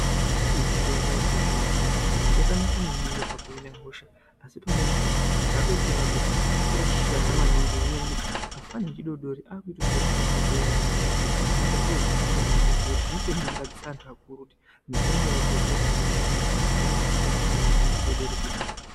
Mitombo yechizvino zvino yakanaka maningi pakuhina hosha asi pamweni pacho takuchitaura kuti yakashata maningi ngenyaya yekuti afana echidodoori akuchitoshandisa mitombo iyani kudhakwa zvinoita zviro zvenhando maningi zvekuti zvinotonyangadzisa antu akuru kuti mitombo yakugadzirwe kuhina hosha yakushandiswa neana adodoori kudhakwa .